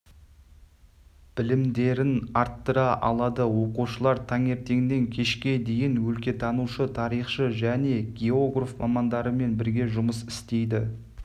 білімдерін арттыра алады оқушылар таңертеңнен кешке дейін өлкетанушы тарихшы және географ мамандарымен бірге жұмыс істейді